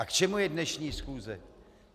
A k čemu je dnešní schůze?